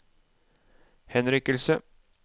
henrykkelse